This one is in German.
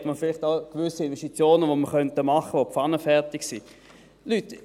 Dann gäbe es vielleicht auch gewisse Investitionen, die pfannenfertig sind und die wir tätigen könnten.